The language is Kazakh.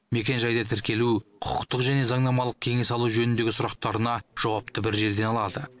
мекенжайды тіркелу құқықтық және заңнамалық кеңес алу жөніндегі сұрақтарына жауапты бір жерден алады